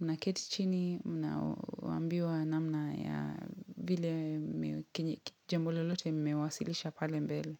unaketi chini, mnaoambiwa namna ya vile kile jambo lolote mmewasilisha pale mbele.